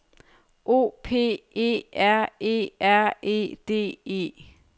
O P E R E R E D E